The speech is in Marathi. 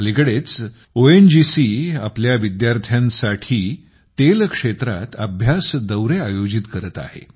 अलिकडे ओएनजीसी आपल्या विद्यार्थ्यांसाठी तेल क्षेत्रात अभ्यास दौरे आयोजित करत आहे